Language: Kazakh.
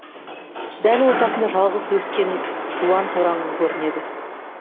дәл ортасында жалғыз өскен жуан тораңғы көрінеді